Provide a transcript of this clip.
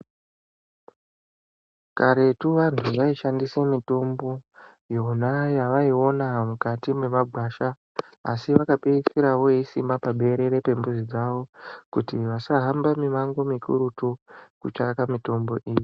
Karetu vantu vaishandise mitombo, yona yavaiona mukati mwemagwasha, asi vakapeisira voisima paberere pembuzi dzavo ,kuti vasahambe mimango mikurutu kutsvaka mitombo iyi.